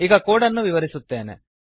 ಈಗ ಕೋಡ್ ಅನ್ನು ವಿವರಿಸುತ್ತೇನೆ